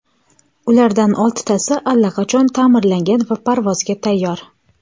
Ulardan oltitasi allaqachon ta’mirlangan va parvozga tayyor.